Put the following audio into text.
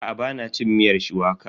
Aa, ba na cin miyar shuwaka.